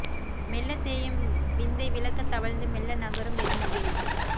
மெல்லத் தேயும் விந்தை விளக்க தவழ்ந்து மெல்ல நகரும் வெண்முகில்